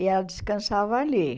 E ela descansava ali.